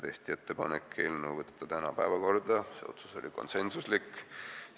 Tehti ettepanek saata eelnõu tänaseks päevakorda, see otsus oli konsensuslik.